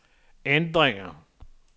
ændringer